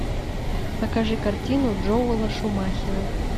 покажи картину джоэла шумахера